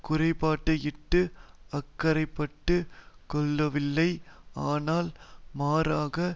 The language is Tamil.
குறைபாட்டையிட்டு அக்கறைப்பட்டுக் கொள்ளவில்லை ஆனால் மாறாக